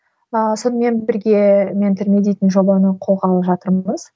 ыыы сонымен бірге ментор ми дейтін жобаны қолға алып жатырмыз